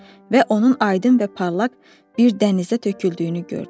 Və onun aydın və parlaq bir dənizə töküldüyünü gördü.